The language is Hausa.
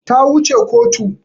Ta wu ce kotu